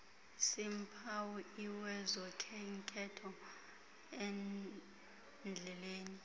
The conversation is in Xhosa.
seempawu lwezokhenketho endleleleni